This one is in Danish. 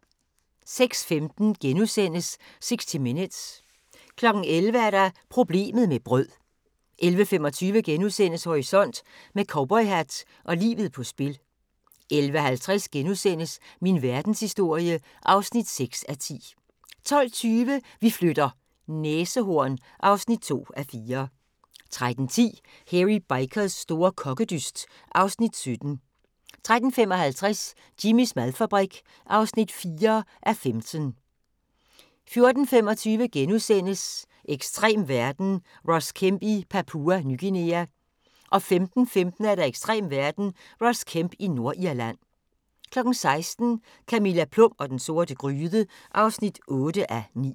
06:15: 60 Minutes * 11:00: Problemet med brød 11:25: Horisont: Med cowboyhat og livet på spil * 11:50: Min verdenshistorie (6:10)* 12:20: Vi flytter - næsehorn (2:4) 13:10: Hairy Bikers store kokkedyst (Afs. 17) 13:55: Jimmys madfabrik (4:15) 14:25: Ekstrem verden – Ross Kemp i Papua Ny Guinea * 15:15: Ekstrem verden – Ross Kemp i Nordirland 16:00: Camilla Plum og den sorte gryde (8:9)